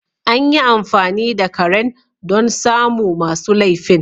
Anyi amfani da karen don samu masu lefin